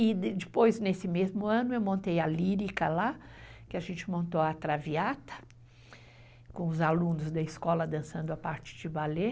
E depois, nesse mesmo ano, eu montei a lírica lá, que a gente montou a traviata, com os alunos da escola dançando a parte de balé.